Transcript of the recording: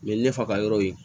U ye ne fa ka yɔrɔ ye